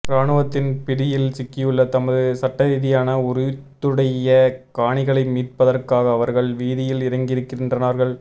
இராணுவத்தின் பிடியில் சிக்கியுள்ள தமது சட்டரீதியான உரித்துடைய காணிகளை மீட்பதற்காக அவர்கள் வீதியில் இறங்கியிருக்கின்றார்கள்